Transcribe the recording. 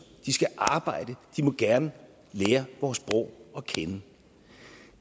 de skal arbejde de må gerne lære vores sprog at kende